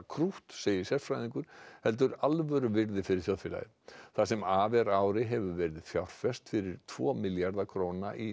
krútt segir sérfræðingur heldur alvöru virði fyrir þjóðfélagið það sem af er ári hefur verið fjárfest fyrir tvo milljarða króna í